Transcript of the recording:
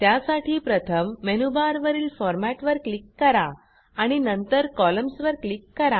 त्यासाठी प्रथम मेनूबारवरील फॉर्मॅट वर क्लिक करा आणि नंतर कॉलम्न्स वर क्लिक करा